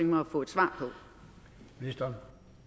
mig at få et svar på